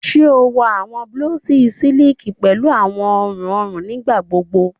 Ṣe o wọ awọn blouses siliki pẹlu awọn ọrun ọrun nigbagbogbo?